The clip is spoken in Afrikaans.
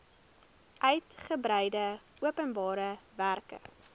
uigebreide openbare werke